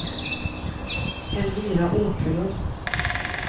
Elvira Åkerlund